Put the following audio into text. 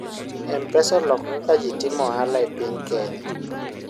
mpesa oloko kaka ji timo ohala e piny kenya